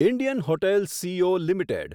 Indian Hotels C O limited